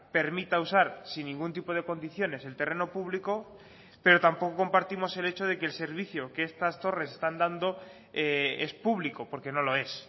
permita usar sin ningún tipo de condiciones el terreno público pero tampoco compartimos el hecho de que el servicio que estas torres están dando es público porque no lo es